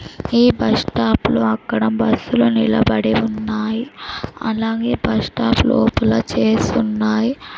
ఈ బస్టాప్లో అక్కడ బస్సులు నిలబడి ఉన్నాయి అలాగే బస్ స్టాప్ లోపల చైర్స్ ఉన్నాయి.